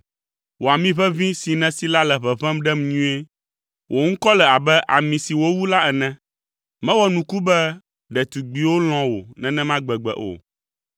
Wò ami ʋeʋĩ si nèsi la le ʋeʋẽm ɖem nyuie; wò ŋkɔ le abe ami si wowu la ene. Mewɔ nuku be ɖetugbiwo lɔ̃ wò nenema gbegbe o!